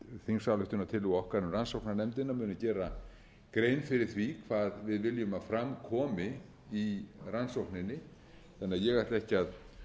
þingsályktunartillögu okkar um rannsóknarnefndina muni gera grein fyrir því hvað við viljum að fram komi í rannsókninni þannig að ég ætla ekki að